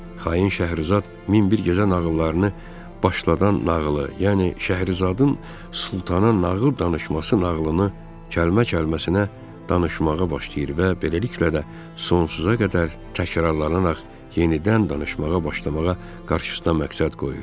Xain Şəhrizad min bir gecə nağıllarını başlayan nağılı, yəni Şəhrizadın sultana nağıl danışması nağılını kəlmə-kəlməsinə danışmağa başlayır və beləliklə də sonsuza qədər təkrarlanaraq yenidən danışmağa başlamağa qarşısına məqsəd qoyur.